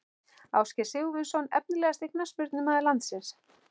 Ásgeir Sigurvinsson Efnilegasti knattspyrnumaður landsins?